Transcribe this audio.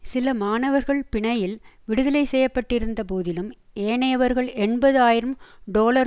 சில மாணவர்கள் பிணையில் விடுதலை செய்யப்பட்டிருந்தபோதிலும் ஏனையவர்கள் எண்பது ஆயிரம் டொலர்